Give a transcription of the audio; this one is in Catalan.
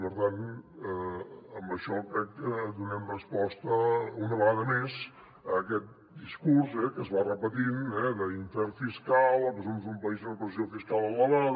per tant amb això crec que donem resposta una vegada més a aquest discurs que es va repetint eh d’infern fiscal o que som un país amb una pressió fiscal elevada